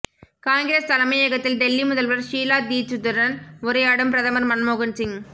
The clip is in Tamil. காங்கிரஸ் தலைமையகத்தில் டெல்லி முதல்வர் ஷீலா தீட்சித்துடன் உரையாடும் பிரதமர் மன்மோகன்சிங்